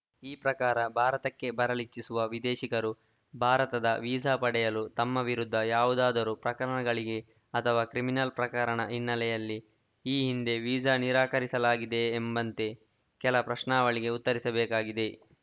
ಈ ಪ್ರಕಾರ ಭಾರತಕ್ಕೆ ಬರಲಿಚ್ಚಿಸುವ ವಿದೇಶಿಗರು ಭಾರತದ ವೀಸಾ ಪಡೆಯಲು ತಮ್ಮ ವಿರುದ್ಧ ಯಾವುದಾದರೂ ಪ್ರಕರಣಗಳಿಗೆ ಅಥವಾ ಕ್ರಿಮಿನಲ್‌ ಪ್ರಕರಣ ಹಿನ್ನೆಲೆಯಲ್ಲಿ ಈ ಹಿಂದೆ ವೀಸಾ ನಿರಾಕರಿಸಲಾಗಿದೆಯೇ ಎಂಬಂಥ ಕೆಲ ಪ್ರಶ್ನಾವಳಿಗಳಿಗೆ ಉತ್ತರಿಸಬೇಕಿದೆ